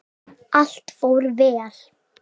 Allt fór vel.